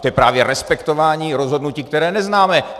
To je právě respektování rozhodnutí, které neznáme.